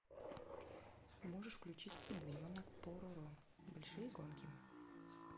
можешь включить пингвиненок пороро большие гонки